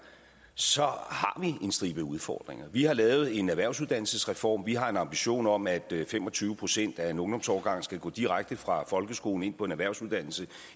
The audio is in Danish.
så har en stribe udfordringer vi har lavet en erhvervsuddannelsesreform vi har en ambition om at fem og tyve procent af en ungdomsårgang skal gå direkte fra folkeskolen og ind på en erhvervsuddannelse